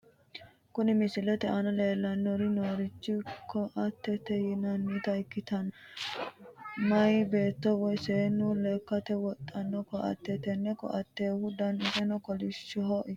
Kuni misilete aana leellanni noorichi koattete yaa tini koatteno meyaa beetto woyi seennu lekkate wodhanno koatteeti. tenne koattehu danisino kolishsho ikkanno.